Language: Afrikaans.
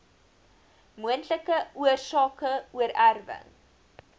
moontlike oorsake oorerwing